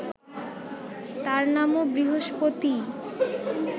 তাঁর নামও বৃহস্পতিই